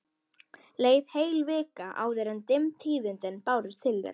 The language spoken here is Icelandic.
Leið heil vika áður en dimm tíðindin bárust til þeirra.